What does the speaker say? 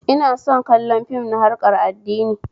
Ina son kallon fim na harkar addini